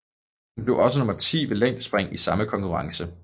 Hun blev også nummer 10 ved længdespring i samme konkurrence